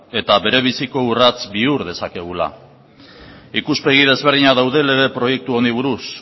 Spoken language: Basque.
eta berebiziko urrats bihur dezakegula ikuspegi ezberdinak daude lege proiektu honi buruz